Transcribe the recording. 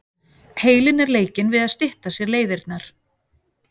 Heilinn er leikinn við að stytta sér leiðirnar.